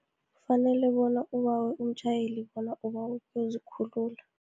Kufanele bona abawe umtjhayeli, bona ubawa ukuzikhulula.